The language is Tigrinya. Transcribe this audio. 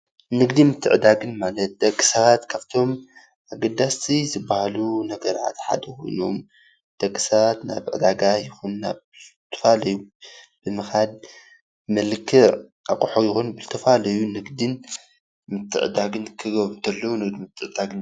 ንግዲን ምትዕድዳን ማለት ደቂ ሰባት ካብቶም አገደስቲ ዝበሃሉ ነገራት ሓደ ኮይኖም ፤ደቂ ሰባት ናብ ዕዳጋ ይኩን ናብ ዝተፈላለዩ ብምካድ ብመልክዕ አቑሑ ይኩን ብዝተፈላለዩ ንግዲን ምትዕድዳግን ክገብሩ ከለው ንግዲን ምትዕድዳግን ይበሃል፡፡